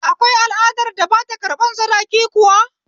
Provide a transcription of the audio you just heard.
Akwai al'adar da ba ta ƙarɓan sadaki kuwa?